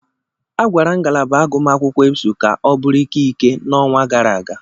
A kwagara ngalaba agụmakwụkwọ Ebsu ka ọ bụrụ ikike n'ọnwa gara aga.